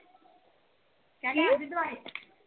ਕੀ